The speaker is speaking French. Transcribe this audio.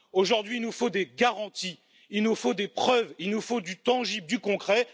Aujourd'hui, il nous faut des garanties, il nous faut des preuves, il nous faut du tangible, du concret.